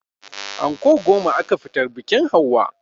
Anko goma aka fitar biƙin hauwa